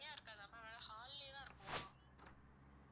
தனியா இருக்காதா ma'am வேற hall லயே தான் இருக்குமா?